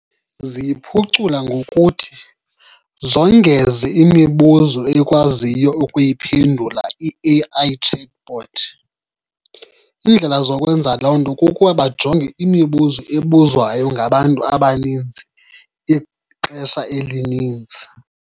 Ziyiphucula ngokuthi zongeze imibuzo eyikwaziyo ukuyiphendula i-A_I chatbot. Iindlela zokwenza loo nto kukuba bajonge imibuzo ebuzwayo ngabantu abaninzi ixesha elininzi.